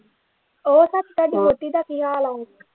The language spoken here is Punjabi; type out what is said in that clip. ਉਹ ਸੱਚ ਤੁਹਾਡੀ ਵਹੁਟੀ ਦਾ ਕੀ ਹਾਲ ਆ।